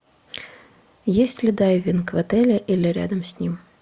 есть ли дайвинг в отеле или рядом с ним